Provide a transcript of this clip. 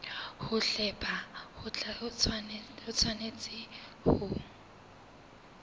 ho hlepha ho tshwanetse ho